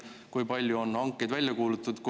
Kui palju on tänaseks hankeid välja kuulutatud?